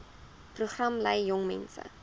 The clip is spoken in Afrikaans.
program lei jongmense